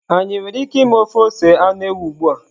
Anyị nwere ike ime ofe ose anụ ewu ugbua?